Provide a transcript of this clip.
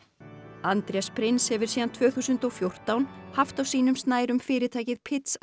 Andrés prins hefur síðan tvö þúsund og fjórtán haft á sínum snærum fyrirtækið